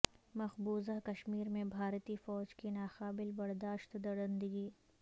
مقبوضہ کشمیر میں بھارتی فوج کی ناقابل برداشت درندگی